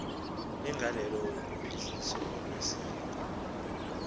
negalelo kuphuhliso lwesikolo